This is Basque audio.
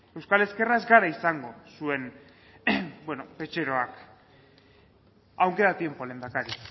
euskal ezkerra ez gara izango zuen petxeroak aun queda tiempo lehendakari